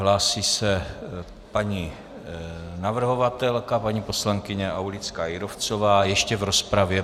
Hlásí se paní navrhovatelka, paní poslankyně Aulická Jírovcová - ještě v rozpravě.